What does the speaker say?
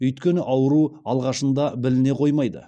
өйткені ауру алғашында біліне қоймайды